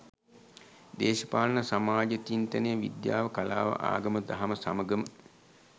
දේශපාලන සමාජ චින්තනය, විද්‍යාව, කලාව ආගම දහම සමඟම